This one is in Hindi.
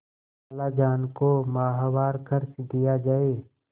खालाजान को माहवार खर्च दिया जाय